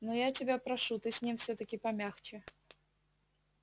но я тебя прошу ты с ним всё-таки помягче